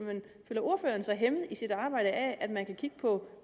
føler ordføreren sig hæmmet i sit arbejde af at man kan kigge på